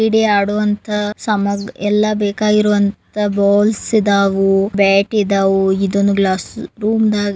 ಕ್ರೀಡೆ ಆಡುವಂತ ಸಾಮ ಎಲ್ಲ ಬೇಕಾಗುವಂತಹ ಬಾಲುಸ್ ಇದಾವು ಬಾಟು ಇದಾವು ಇದೊಂದ್ ಗ್ಲಾಸ್ ರೂಮ್ ದಾಗ್ --